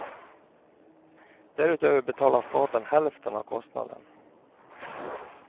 Därutöver betalar staten hälften av kostnaden.